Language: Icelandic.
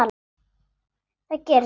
Það gerist ekki,